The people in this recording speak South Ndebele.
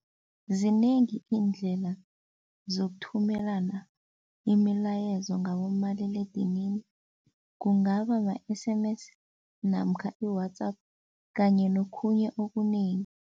Zinengi iindlela zokuthumelana imilayezo ngabomaliledinini kungaba ma-S_M_S namkha i-WhatsApp kanye nokhunye okunengi.